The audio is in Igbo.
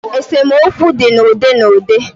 Esemokwu di n' udi n'udi.